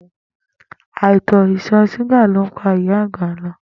Àìsàn ìtò̩ s̩úgà ló ń pa ìyà àgbà lo̩